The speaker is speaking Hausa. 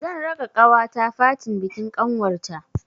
Zan raka ƙawata fatin bikin ƙanwar ta.